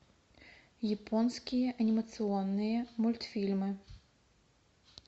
японские анимационные мультфильмы